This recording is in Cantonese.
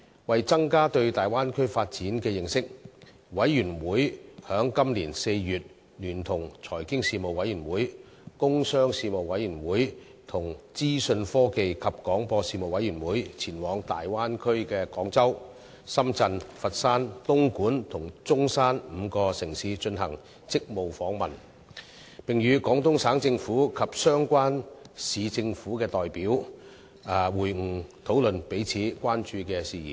為增加對大灣區發展的認識，事務委員會於今年4月聯同財經事務委員會、工商事務委員會和資訊科技及廣播事務委員會前往大灣區的廣州、深圳、佛山、東莞及中山5個城市進行職務訪問，並與廣東省政府及相關市政府的代表會晤，討論彼此關注的事宜。